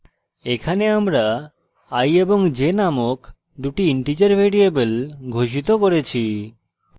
এখানে আমরা i এবং j নামক দুটি integer ভ্যারিয়েবল ঘোষিত করেছি